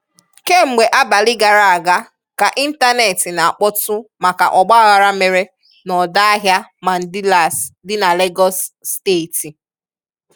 Kemgbe abalị gara aga ka ịntaneti na-akpọtụ maka ọgbaaghara mere n'ọdọ ahịa Mandilas dị na Legọs steeti.